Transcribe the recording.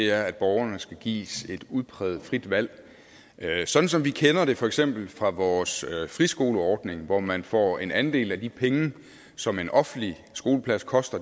er at borgerne skal gives et udpræget frit valg sådan som vi kender det for eksempel fra vores friskoleordning hvor man får en andel af de penge som en offentlig skoleplads koster